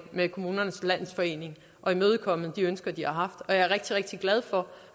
med kommunernes landsforening og imødekomme de ønsker de har og jeg er rigtig rigtig glad for